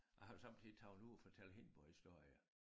Og samtidig tager hun ud og fortæller hindborghistorier